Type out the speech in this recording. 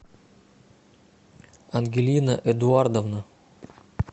ангелина эдуардовна